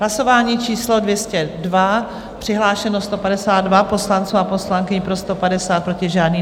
Hlasování číslo 202, přihlášeno 152 poslanců a poslankyň, pro 150, proti žádný.